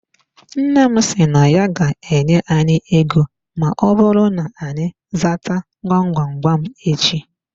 Nna m si na ya ga-enye anyị ego ma ọbụrụ na-anyị zata gwam gwam gwam echi.